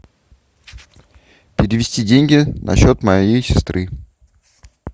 перевести деньги на счет моей сестры